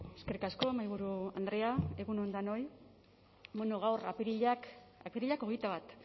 eskerrik asko mahaiburu andrea egun on danoi bueno gaur apirilak hogeita bat